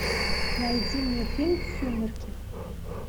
найди мне фильм сумерки